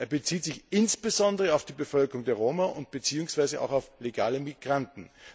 Er bezieht sich insbesondere auf die Bevölkerung der Roma beziehungsweise auch auf legale Migranten.